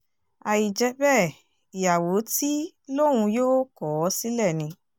àì jẹ́ bẹ́ẹ̀ ìyàwó tí lòun yóò kọ̀ ọ́ sílẹ̀ ni